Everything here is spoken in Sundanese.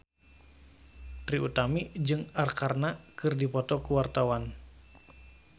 Trie Utami jeung Arkarna keur dipoto ku wartawan